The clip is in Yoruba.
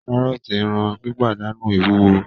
Kárọ́ọ̀tì ń ran pípàdánù ìwúwo